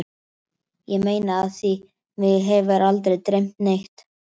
Ég meina af því mig hefur aldrei dreymt neitt.